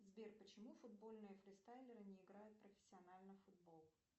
сбер почему футбольные фристайлеры не играют профессионально в футбол